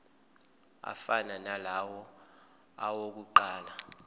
afana nalawo awokuqala